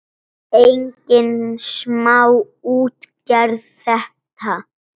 Engin smá útgerð þetta!